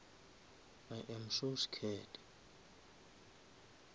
i am so scared